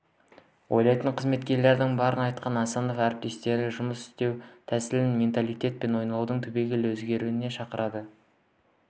ойлайтын қызметкерлердің барын айтқан асанов әріптестерін жұмыс істеу тәсілін менталитет пен ойлауды түбегейлі өзгертуге шақырды